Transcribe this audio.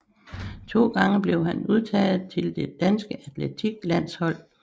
To gange blev han udtaget til det danske atletik landshold